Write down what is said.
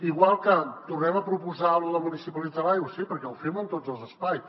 igual que tornem a proposar lo de municipalitzar l’aigua sí perquè ho fem en tots els espais